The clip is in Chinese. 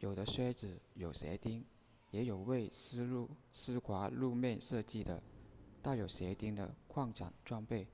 有的靴子有鞋钉也有为湿滑路面设计的带有鞋钉的扩展装备